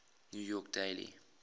new york daily